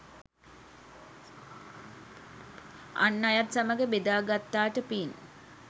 අන් අයත් සමඟ බෙදා ගත්තාට පින්.